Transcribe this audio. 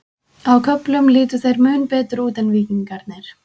Á köflum litu þeir mun betur út en Víkingarnir.